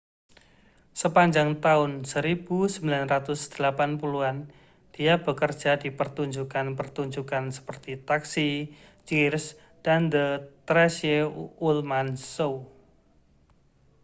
sepanjang tahun 1980-an dia bekerja di pertunjukan-pertunjukan seperti taxi cheers dan the tracey ullman show